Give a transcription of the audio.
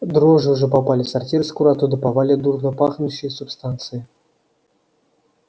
дрожжи уже попали в сортир скоро оттуда повалят дурнопахнущие субстанции